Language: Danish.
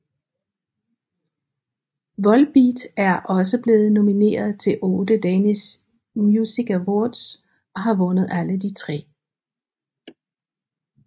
Volbeat er også blevet nomineret til otte Danish Music Awards og har vundet de tre